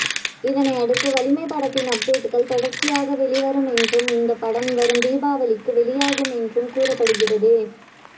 இதனை அடுத்து வலிமை படத்தின் அப்டேட்டுக்கள் தொடர்ச்சியாக வெளிவரும் என்றும் இந்த படம் வரும் தீபாவளிக்கு வெளியாகும் என்றும் கூறப்படுகிறது